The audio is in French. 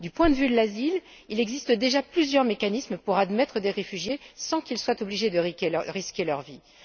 Du point de vue de l'asile, il existe déjà plusieurs mécanismes pour admettre des réfugiés sans qu'ils soient obligés de risquer leurs vies.